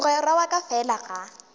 mogwera wa ka fela ga